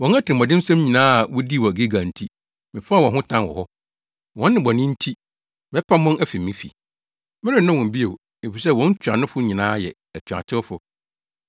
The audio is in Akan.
“Wɔn atirimɔdensɛm nyinaa a wodii wɔ Gilgal nti, mefaa wɔn ho tan wɔ hɔ. Wɔn nnebɔne nti mɛpam wɔn afi me fi. Merennɔ wɔn bio; efisɛ wɔn ntuanofo nyinaa yɛ atuatewfo.